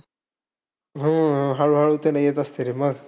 हो, हो. हळू-हळू तर येत असते रे मग.